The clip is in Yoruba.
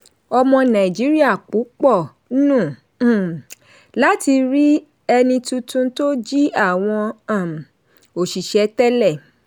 ọmọ nàìjíríà púpọ̀ nùn um láti rí ẹni tuntun tó jí àwọn um òṣìṣẹ́ tẹ́lẹ̀.